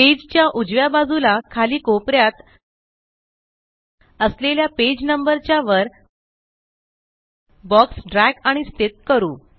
page च्या उजव्या बाजूला खाली कोपऱ्यात असलेल्या पेज नंबर च्या वर बॉक्स dragआणि स्थित करू